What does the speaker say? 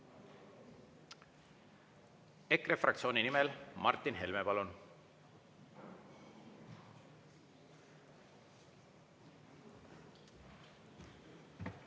EKRE fraktsiooni nimel Martin Helme, palun!